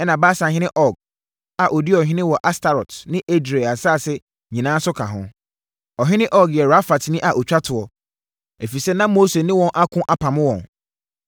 ɛnna Basanhene Og a ɔdii ɔhene wɔ Astarot ne Edrei nsase nyinaa nso ka ho. Ɔhene Og yɛ Rafatni a ɔtwa toɔ, ɛfiri sɛ na Mose ne wɔn ako apamo wɔn.